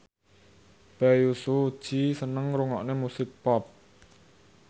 Bae Su Ji seneng ngrungokne musik pop